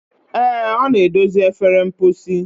Ee, ọ na-edozi efere mposi.